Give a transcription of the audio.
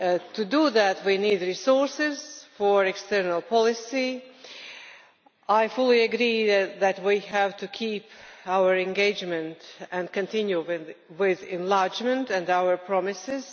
To do that, we need resources for external policy. I fully agree that we have to keep our engagement and continue with enlargement and our promises.